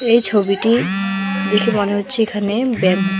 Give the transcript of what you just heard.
এই ছবিটি দেখে মনে হচ্ছে এখানে ব্যাম--